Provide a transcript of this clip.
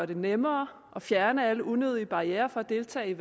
det nemmere og fjerne alle unødige barrierer fra at deltage i